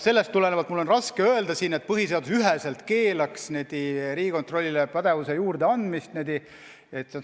Sellest tulenevalt on mul raske kinnitada, et põhiseadus keelab üheselt Riigikontrollile pädevuse juurdeandmise.